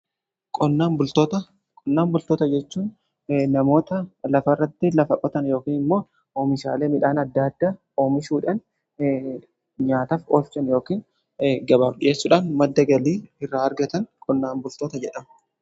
Qonnaan bultoota jechuun namoota lafa irratti lafa qotan yookin immoo oomishaalee midhaan adda adda oomishuudhan nyaataaf oolchan yookiin gabaaf dhiyeessuudhaan madda galii irraa argatan qonnaan bultoota jedhama.